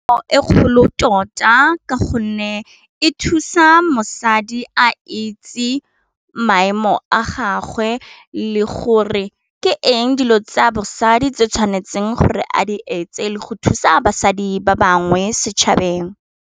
E kgolo tota ka gonne e thusa mosadi a itse maemo a gagwe le gore ke eng dilo tsa bosadi tse tshwanetseng gore a di etse le go thusa basadi ba bangwe setšhabeng.